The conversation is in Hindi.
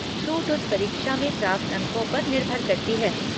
छूट उस परीक्षा में प्राप्त अंकों पर निर्भर करती है।